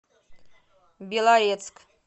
белорецк